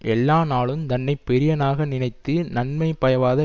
எல்லா நாளு தன்னை பெரியனாக நினைத்து நன்மை பயவாத